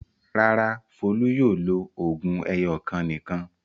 Rárá, Folú yóò lo òògùn ẹyọ̀kan nìkan.